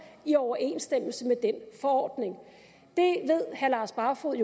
i overensstemmelse med den forordning herre lars barfoed